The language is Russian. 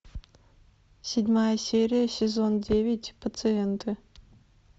седьмая серия сезон девять пациенты